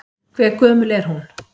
Hve gömul er hún?